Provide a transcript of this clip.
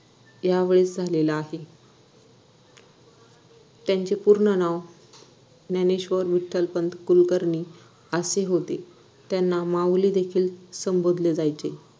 या वयेत झालेला आहे त्यांचे पूर्ण नाव ज्ञानेश्वर विठ्ठलपंत कुलकर्णी असे होते त्यांना माउली देखील संबोधल्या जायचे